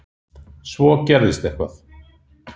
Svo gerðist eitthvað.